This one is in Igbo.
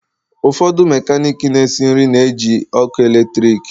Ụfọdụ mekaniki na-esi nri na-eji ọkụ eletrik.